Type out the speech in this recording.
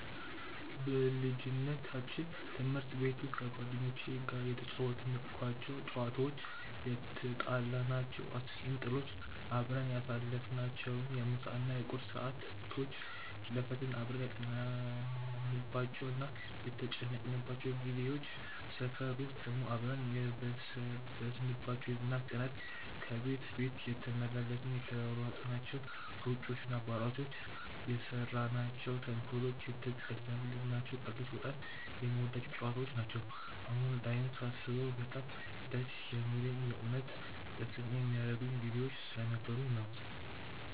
በልጅነታችን ትምህርት ቤት ውስጥ ከጓደኞቼ ጋር የተጫወትኳቸው ጨዋታዎች፣ የትጣላናቸው አስቂኝ ጥሎች፣ አብረን ያሳለፍናቸውን የምሳ እና የቁርስ ሰዓቶች፣ ለፈተና አብረን ያጠናንባቸው እና የተጨነቅንባቸው ጊዜዎች፣ ሰፈር ውስጥ ደግሞ አብረን የበሰበስንባቸው የዝናብ ቀናት፣ ከቤት ቤት እየተመላለስን የተሯሯጥናቸው ሩጫዎች እና አባሮሾች፣ የሰራናቸው ተንኮሎች፣ የተቀላለድናቸው ቀልዶች በጣም የምወዳቸው ጨዋታዎች ነው። አሁን ላይም ሳስበው በጣም ደስ የሚለኝ የእውነት ደስተኛ ያደረጉኝ ጊዜዎች ስለነበሩ ነው።